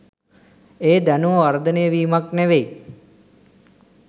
ඒ දැනුම වර්ධනය වීමක් නෙවෙයි